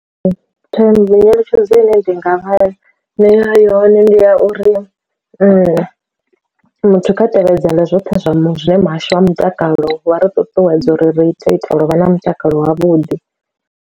Nyeletshedzo ine ndi nga vha nea yone ndi ya uri muthu kha tevhedzela zwoṱhe zwa zwine muhasho wa mutakalo wa ri ṱuṱuwedza uri ri ita uri vha na mutakalo wavhuḓi.